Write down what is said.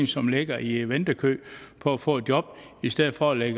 som ligger i ventekøen for at få et job i stedet for at lægge